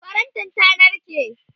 farantin ta narke